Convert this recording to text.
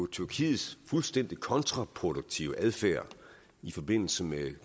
tyrkiets fuldstændig kontraproduktive adfærd i forbindelse med